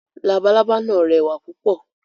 Labalábá náà rẹwà púpọ̀.